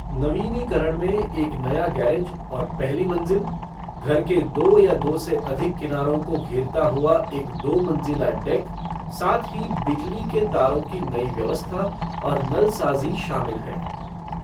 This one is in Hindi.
नवीनीकरण में एक नया गैरेज और पहली मंजिल, घर के दो या दो से अधिक किनारों को घेरता हुआ एक दो मंजिला डेक, साथ ही बिजली के तारों की नई व्यवस्था और नलसाज़ी शामिल हैं।